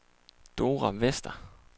Dora Vester